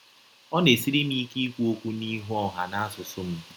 Ọ na - esiri m ike ikwụ ọkwụ n’ihụ ọha n’asụsụ m.